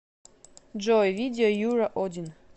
джой видео юра один